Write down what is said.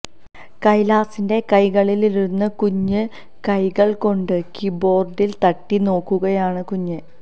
കൈലാസിന്റെ കൈകളിലിരുന്ന് കുഞ്ഞ് കൈകള് കൊണ്ട് കീബോര്ഡില് തട്ടി നോക്കുകയാണ് കുഞ്ഞ്